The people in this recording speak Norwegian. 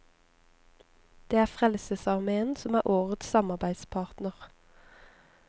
Det er frelsesarmeen som er årets samarbeidspartner.